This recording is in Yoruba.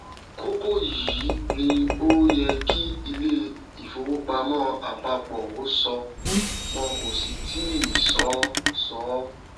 kókó yìí ni ó yẹ kí ilé ìfowópamọ àpapọ ó sọ wọn kò sì tíì sọ sọ